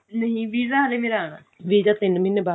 ਨਹੀ visa ਹਲੇ ਮੇਰਾ ਆਉਣਾ visa ਤਿੰਨ ਮਹੀਨੇ ਬਾਅਦ